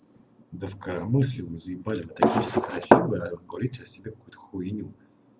да в коромысле вы заебали такие все красивые а говорите о себе какую-то хуйню